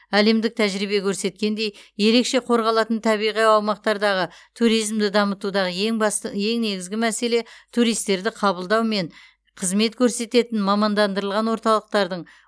әлемдік тәжірибе көрсеткендей ерекше қорғалатын табиғи аумақтардағы туризмді дамытудағы ең басты ең негізгі мәселе туристерді қабылдау мен қызмет көрсететін мамандандырылған орталықтардың